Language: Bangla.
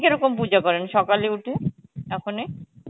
কিরকম পুজো করেন সকালে উঠে, ওখানে?